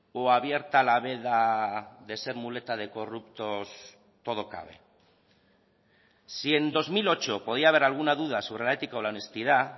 o abierta la veda de ser muleta de corruptos todo cabe si en dos mil ocho podía haber alguna duda sobre la ética o la honestidad